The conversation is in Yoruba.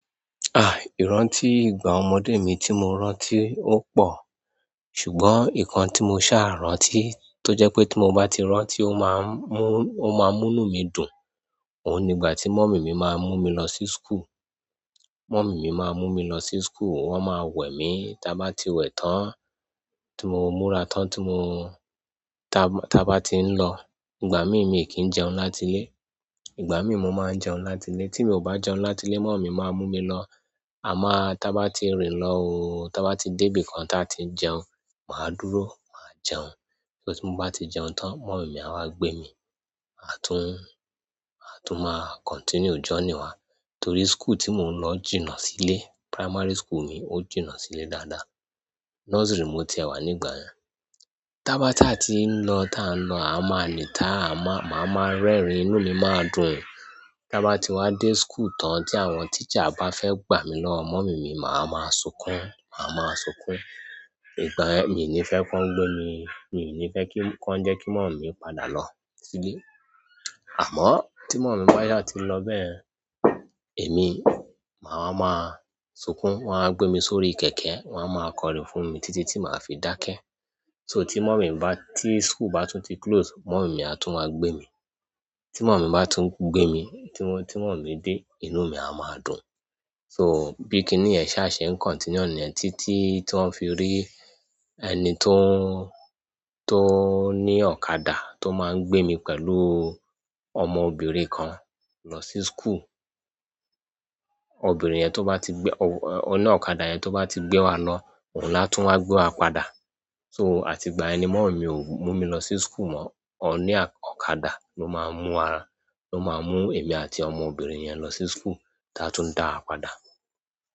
Iranti ìgbà ọmọ de mi ti mo rántí o pọ ṣùgbọ́n ikan ti mo sa rántí to je pe ti mo ba ti rántí o maa n mu inú mi dùn oun ni ìgbà ti mummy mi maa n mu mi lo si school. Mọ̀mí mi máa ń mú mi lọ sí school, wọ́n máa wẹ̀ mi. Tí a bá ti wẹ̀ tán, tí mo múra tán tí mo, ta-tá bá ti ń lọ, ìgbà mí mi kì í jẹun láti ilé. Ìgbà mí mo máa jẹun láti ilé. Tí mi ò bá jẹun láti ilé, mọ̀mí máa mú mi lọ. Àmáá tá bá ti rìn lọ òóó, tá bá ti débi kan tí a ti jẹun, màá dúró, màá jẹun. Só ti mo bá ti jẹun tán, mọ̀mí mi á wá gbé mi, a tún, a tún máa continue journey wa. Torí school tí mo ń lọ jìnà sílé, primary school mi ó jìnà sílé dáadáa. Nursery mo tiẹ̀ wà nígbà yẹn. Tá bá ti à ti ń lọ, tá a ń lọ, a máa nìta, a máa, màá máa ń rẹ́rìn-ín, inú mi máa dùn. Tá bá ti wá dé school tán tí àwọn teacher bá fẹ́ gbà mí lọ, mọ̀mí mi màá máa sunkún, màá máa sunkún. Nígbà ẹ́ mi ò ní fẹ́ kó ń gbé mi. Mi ò ní fẹ́ kí, kó ń jẹ́ kí mọ̀mí padà lọ sílé. Àmọ́ tí mọ̀mí bá yà ti ń lọ bẹ́ẹ̀, èmi màá máa máa sunkún, wọ́n á gbé mi sórí kẹ̀kẹ́, wọ́n á máa kọrin fún mi títí tí màá fi dákẹ́. So tí mọ̀mí bá, tí school bá tún ti close, mọ̀mí mi á tún máa gbé mi. Tí mọ̀mí bá tún gbé mi, tí mọ̀mí dé, inú mi á máa dùn. So bí i kíní yẹ̀n ṣa ṣe ń continue níyẹn títí ti wọ́n fi rí ẹni tó ń, tó ń ní ọ̀kadà tó máa ń gbé mi pẹ̀lú ọmọ obìnrin kan lọ sí school. Obìnrin yẹn tó bá ti gbé, oní ọ̀kadà yẹn tó bá ti gbé wa lọ, òun la tún wá gbé wa padà. So àti ìgbà ẹni mọ̀mí ò mú mi lọ sí school mọ́, oní ọ̀kadà ló máa ń mú wa lọ, ló máa ń mú èmi àti ọmọ obìnrin yẹn lọ sí school, tá a tún ń dá wa padà.